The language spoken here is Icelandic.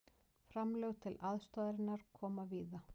Framlög til aðstoðarinnar koma víða